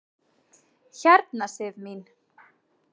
Hérna Sif mín.